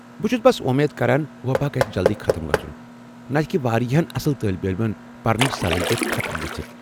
بہٕ چُھس بس اُمید کران وباہ گژھِ جلدی ختم گژُھن، نتہٕ ہیٚکہِ واریاہن اصل طٲلب علمن پرنٕچ صلٲہیت ختم گٔژھِتھ ۔